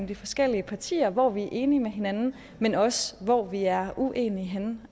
de forskellige partier hvor vi er enige med hinanden men også hvor vi er uenige